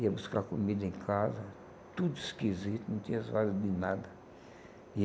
Ia buscar comida em casa, tudo esquisito, não tinha zoada de nada. E